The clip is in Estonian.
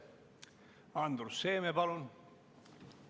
Andrus Seeme, palun!